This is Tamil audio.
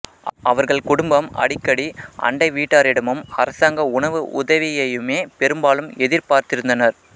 அவர்கள் குடும்பம் அடிக்கடி அண்டை வீட்டாரிடமும் அரசாங்க உணவு உதவியையுமே பெரும்பாலும் எதிர்பார்த்திருந்தனர்